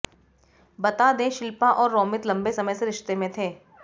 बता दें शिल्पा और रोमित लंबे समय से रिश्ते में थे